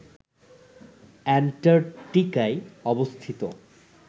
অ্যান্টার্কটিকায় অবস্থিত